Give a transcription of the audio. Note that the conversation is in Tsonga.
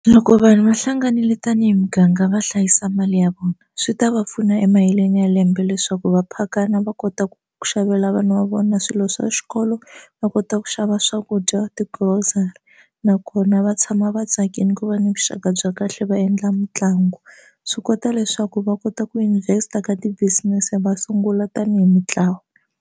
Loko vanhu va hlanganile tanihi muganga va hlayisa mali ya vona swi ta va pfuna emaheleni ya lembe leswaku va phakana va kota ku xavela vana va vona swilo swa xikolo va kota ku xava swakudya ka ti grocery nakona va tshama va tsakile ku va ni vuxaka bya kahle va endla mitlangu swi kota leswaku va kota ku invest a ka ti business va sungula tanihi mintlawa.